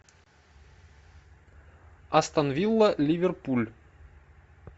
астон вилла ливерпуль